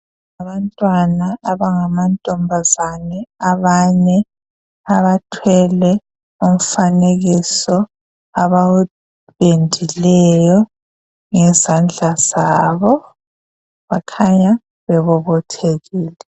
Abantwana abangamantombazane abane abathwele umfanekiso abawupendileyo ngezandla zabo bakhanya bebobothekile.